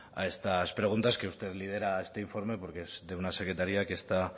a estas preguntas que usted lidera este informe porque es de una secretaría que está